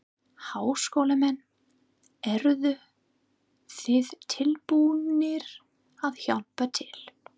Háskólamenn, eruð þið tilbúnir að hjálpa til?